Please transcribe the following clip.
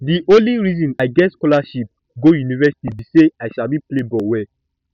the only reason i get scholarship go university be say i sabi play ball well